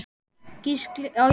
Gísli Óskarsson: Jafnástfanginn?